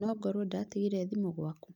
Nongorwo ndĩratigire thimũ gwaku